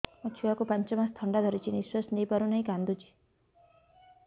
ମୋ ଛୁଆକୁ ପାଞ୍ଚ ମାସ ଥଣ୍ଡା ଧରିଛି ନିଶ୍ୱାସ ନେଇ ପାରୁ ନାହିଁ କାଂଦୁଛି